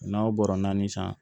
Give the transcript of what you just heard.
N'aw bɔra naani san